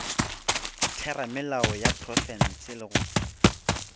theramelao ya profense le go